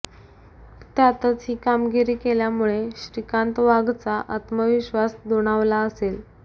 त्यातच ही कामगिरी केल्यामुळे श्रीकांत वाघचा आत्मविश्वास दुणावला असेल